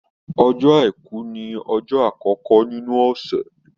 Ọjọ́ Àìkú ni ọjọ́ àkọkọ nínú ọ̀sẹ̀.